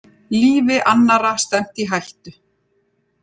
Lífi annarra stefnt í hættu